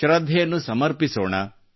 ಶ್ರದ್ಧೆಯನ್ನು ಸಮರ್ಪಿಸೋಣ